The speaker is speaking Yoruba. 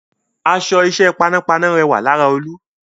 Aṣọ iṣẹ́ panápaná rẹwà lára Olú